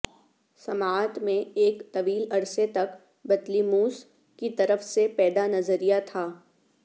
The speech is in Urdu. سماعت میں ایک طویل عرصے تک بطلیموس کی طرف سے پیدا نظریہ تھا